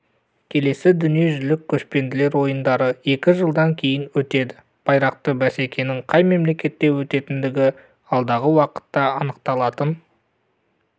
келесі дүниежүзілік көшпенділер ойындары екі жылдан кейін өтеді байрақты бәсекенің қай мемлекетте өтетіндігі алдағы уақытта анықталатын